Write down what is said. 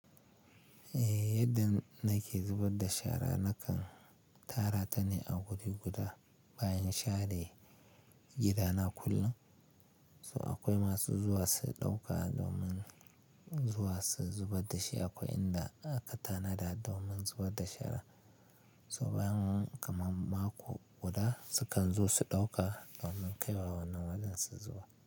Eh, yadda nake zubar da shara nakan tara ta ne a wuri guda bayan share gidana kullum. So akwai masu zuwa su ɗauka domin zuwa su zubar da shi akwai inda aka tanada domin zuwa da shara. To bayan kaman mako guda, sukan zo su ɗauka domin kaiwa wannan wajen su zubar.